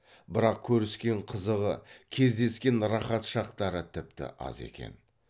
бірақ көріскен қызығы кездескен рақат шақтары тіпті аз екен